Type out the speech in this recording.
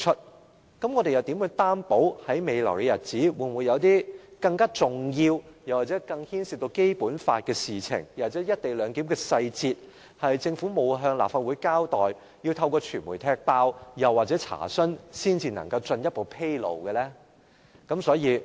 那麼，我們又如何確保在未來的日子中，會否有些更重要或更牽涉《基本法》的事情，又或是一些關乎"一地兩檢"的細節，是政府未曾向立法會交代，我們是要透過傳媒揭發或查詢，才可以獲得進一步披露呢？